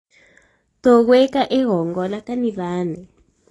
tũgũĩka igongona kanitha-inĩ